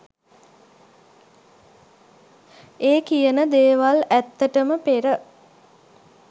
ඒ කියන දේවල් ඇත්තටම පෙර